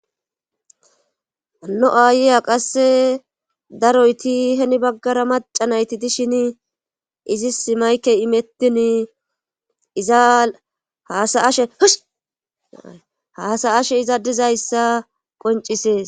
anno aayeya qasse daroyti heni baggara macanayti dishin izi simayke imettin iza saashe haasa ashe iza dizayssa qoncisees